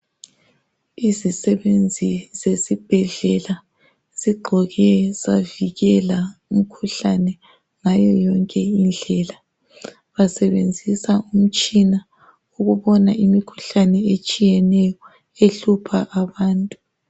Izisebenzi zesibhedlela zigqoke zavikela umkhuhlane ngayo yonke indlela. Basebenzisa umtshina ukubona imikhuhlane etshiyeneyo ehlupha abantu.